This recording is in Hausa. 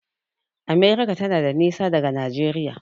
America tana da nisa daga Najeriya.